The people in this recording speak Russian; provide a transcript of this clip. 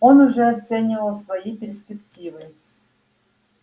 он уже оценивал свои перспективы